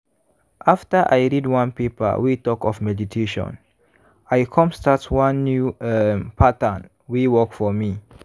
after i read one paper wey talk of meditation i come start one new um pattern wey work for me.